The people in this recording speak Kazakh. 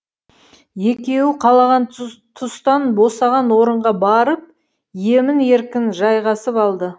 екеуі қалаған тұстан босаған орынға барып емін еркін жайғасып алды